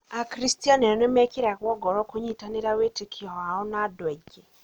Akristiano nĩmekĩragwo ngoro kũnyitanĩra wĩtĩkio wao na andũ angĩ.